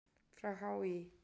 frá HÍ.